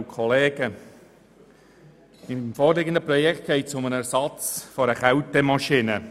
Beim vorliegenden Kreditgeschäft geht es um den Ersatz einer Kältemaschine.